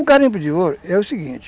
O garimpo de ouro é o seguinte,